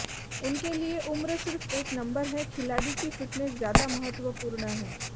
उनके लिए उम्र सिर्फ एक नंबर है खिलाड़ी की फिटनेस ज्यादा महत्वपूर्ण है